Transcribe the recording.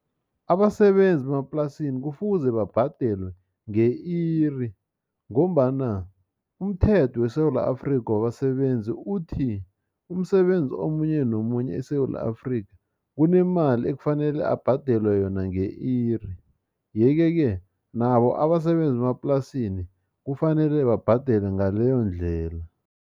Abasebenzi bemaplasini kufuze babhadelwe nge-iri, ngombana umthetho weSewula Afrika wabasebenzi uthi, umsebenzi omunye nomunye eSewula Afrika, kunemali ekufanele abhadelwe yona nge-iri. Yeke-ke, nabo abasebenzi bemaplasini, kufanele babhadelwe ngaleyondlela.